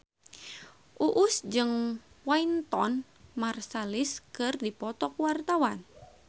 Uus jeung Wynton Marsalis keur dipoto ku wartawan